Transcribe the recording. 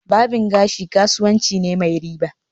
Barbing gashi kasuwanci ne mai riba